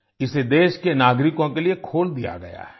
इसे देश के नागरिकों के लिए खोल दिया गया है